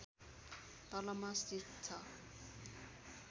तलमा स्थित छ